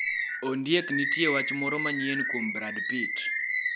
Ondiek nitie wach moro manyien kuom brad pitt